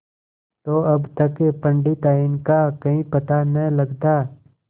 तो अब तक पंडिताइन का कहीं पता न लगता